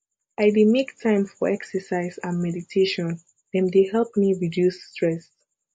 i dey make time for exercise and mediatation dem dey help me reduce stress